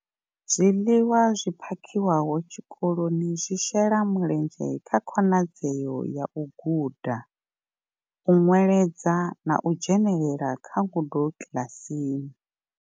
Zwiḽiwa zwi phakhiwaho tshikoloni zwi shela mulenzhe kha khonadzeo ya u guda, u nweledza na u dzhenela kha ngudo kiḽasini.